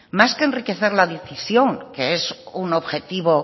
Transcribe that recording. más que enriquecer la decisión que es un objetivo